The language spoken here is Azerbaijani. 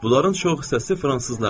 Bunların çox hissəsi fransızlardır.